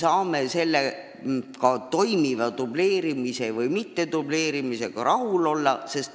Kas me saame olemasoleva dubleerimisega rahul olla?